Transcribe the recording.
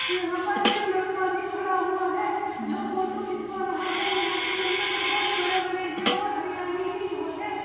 यहां पर एक लड़का भी खड़ा हुआ है जो फोटो खिंचवा रहा है। यहां के जंगल बोहोत बड़े-बड़े हैं और हरियाली भी बोहोत है।